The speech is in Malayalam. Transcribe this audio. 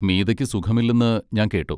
മീതയ്ക്ക് സുഖമില്ലെന്ന് ഞാൻ കേട്ടു.